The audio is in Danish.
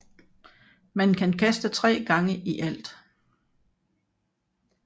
Man kan kaste tre gange i alt